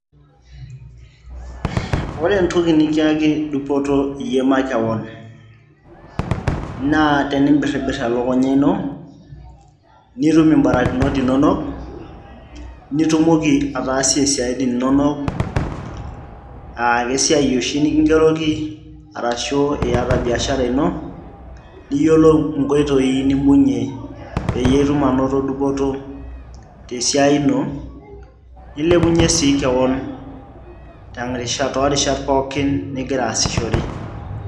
ore entoki nikiaki dupoto iyie makewon naa tenimbiribirr elukunya ino nitum imbarakinot inonok nitumoki ataasie isiaitin inonok uh, kesiai oshi nikingeroki arashu iyata biashara ino niyiolou inkoitoi nimbung'ie peyie itum anoto dupoto tesiai ino nilepunyie sii kewon terishata, toorishat pookin nigira asishore.